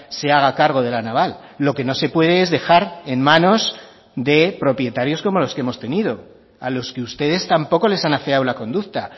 se haga cargo de la naval lo que no se puede es dejar en manos de propietarios como los que hemos tenido a los que ustedes tampoco les han afeado la conducta